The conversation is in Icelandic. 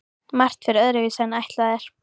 Margt fer öðruvísi en ætlað er.